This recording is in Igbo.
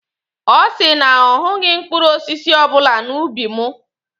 Ọ sị na ọ hụghị mkpụrụ osisi ọbụla n'ubi mụ.